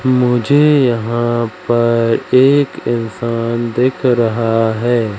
मुझे यहां पर एक इंसान दिख रहा है।